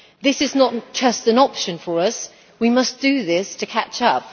This is not just an option for us we must do this to catch up.